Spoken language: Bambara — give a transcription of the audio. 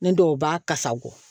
Ne dɔw b'a kasa go